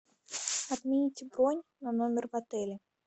отмените бронь на номер в отеле